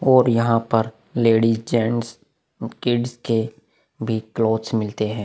और यहाँ पर लेडीज़ गेट्स कीडीस के भी क्लोथ्स मिलते है।